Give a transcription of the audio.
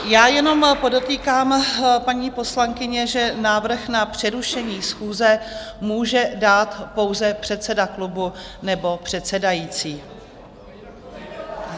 Já jenom podotýkám, paní poslankyně, že návrh na přerušení schůze může dát pouze předseda klubu nebo předsedající.